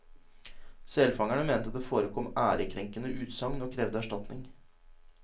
Selfangerne mente det forekom ærekrenkende utsagn og krevde erstatning.